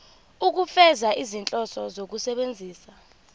ukufeza izinhloso zokusebenzisa